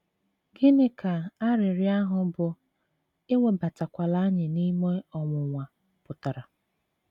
Gịnị ka arịrịọ ahụ bụ́ “ Ewebatakwala anyị n’ime ọnwụnwa ” pụtara?